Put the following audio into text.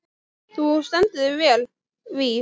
Þú stendur þig vel, Víf!